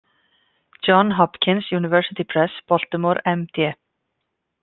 John Hopkins University Press, Baltimore, MD.